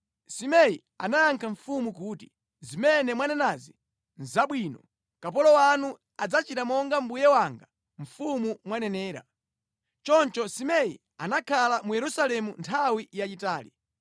Simei anayankha mfumu kuti, “Zimene mwanenazi nʼzabwino. Kapolo wanu adzachita monga mbuye wanga mfumu mwanenera.” Choncho Simei anakhala mu Yerusalemu nthawi yayitali.